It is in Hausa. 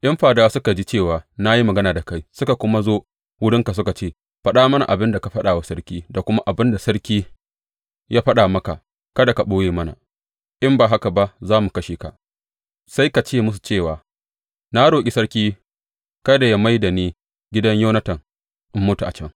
In fadawa suka ji cewa na yi magana da kai, suka kuma zo wurinka suka ce, Faɗa mana abin da ka faɗa wa sarki da kuma abin da sarki ya faɗa maka; kada ka ɓoye mana, in ba haka za mu kashe ka,’ sai ka ce musu cewa, Na roƙi sarki kada yă mai da ni gidan Yonatan in mutu a can.’